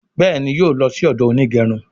Béèni yóò ló sì odo Onigerun.